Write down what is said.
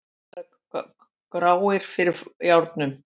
Að vera gráir fyrir járnum